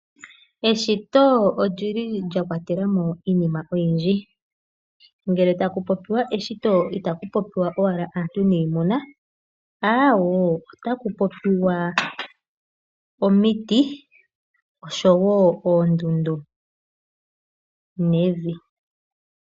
Eshito olyili lya kwatela mo iinima oyindji. Ngele taku popiwa eshito itaku popiwa owala aantu niimuna, awoo otaku popiwa omiti nosho wo oondundu, nevi.